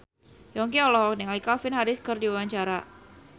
Yongki olohok ningali Calvin Harris keur diwawancara